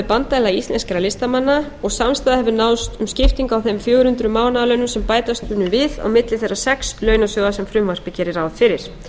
bandalag íslenskra listamanna og samstaða hefur náðst um skiptingu á þeim fjögur hundruð mánaðarlaunum sem bætast munu við á milli þeirra sex launasjóða sem frumvarpið gerir ráð fyrir